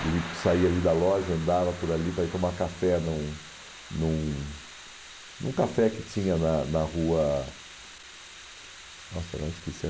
Ele saia ali da loja, andava por ali para ir tomar café num num num café que tinha na na rua... Nossa, agora esqueci.